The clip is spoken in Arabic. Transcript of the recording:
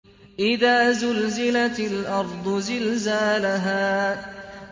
إِذَا زُلْزِلَتِ الْأَرْضُ زِلْزَالَهَا